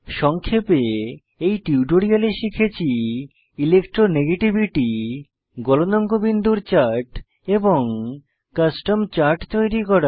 সংক্ষেপে এই টিউটোরিয়ালে শিখেছি ইলেকট্রো নেগেটিভিটি গলনাঙ্ক বিন্দুর চার্ট এবং কাস্টম চার্ট তৈরি করা